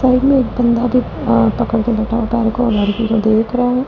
Side में एक बंदा भी पकड़ के बैठा पैर को लड़की को इधर उधर देख रहा है।